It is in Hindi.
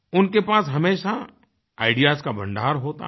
उनके पास हमेशा आईडीईएएस का भण्डार होता है